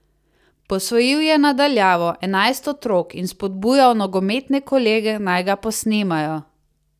Posvojil je, na daljavo, enajst otrok in spodbujal nogometne kolege, naj ga posnemajo.